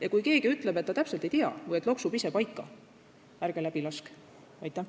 Ja kui keegi ütleb, et ta täpselt ei tea või et küll loksub ise paika, ärge läbi laske!